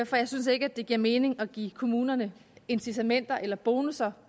for jeg synes ikke at det giver mening at give kommunerne incitamenter eller bonusser